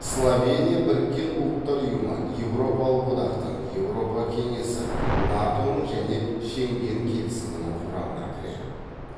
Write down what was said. словения біріккен ұлттар ұйымы еуропалық одақтың еуропа кеңесі нато ның және шенген келісімінің құрамына кіреді